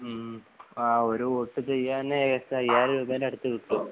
മ് ആ ഒരുവോട്ടു ചെയ്യാന് ഏശം അയ്യായിരം രൂപേൻ്റെ അടുത്ത് കിട്ടും